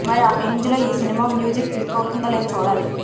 మరి ఆ రేంజ్ లో ఈ సినిమా మ్యూజిక్ క్లిక్ అవుతుందో లేదో చూడాలి